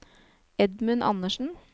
Edmund Anderssen